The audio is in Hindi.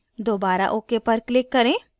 दोबारा ok पर click करें